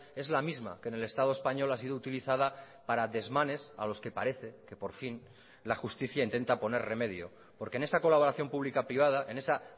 es la misma que en el estado español ha sido utilizada para desmanes a los que parece que por fin la justicia intenta poner remedio porque en esa colaboración pública privada en esa